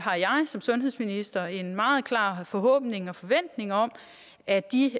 som sundhedsminister en meget klar forhåbning og forventning om at de